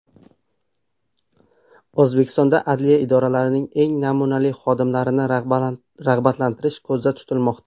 O‘zbekistonda adliya idoralarining eng namunali xodimlarini rag‘batlantirish ko‘zda tutilmoqda.